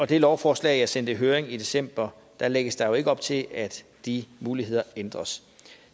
det lovforslag jeg sendte i høring i december lægges der jo ikke op til at de muligheder ændres